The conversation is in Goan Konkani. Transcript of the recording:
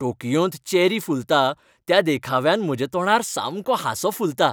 टोकियोंत चेरी फुलता त्या देखाव्यान म्हज्या तोंडार सामको हांसो फुलता .